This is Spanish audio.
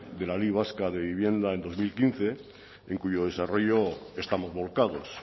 de la ley vasca de vivienda en dos mil quince en cuyo desarrollo estamos volcados